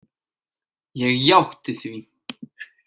Ég játti því.